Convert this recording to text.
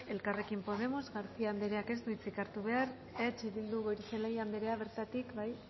elkarrekin podemo garcía andreak ez du hitza hartu behar eh bildu goirizelaia andrea bertatik bai